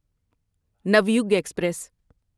Navyug express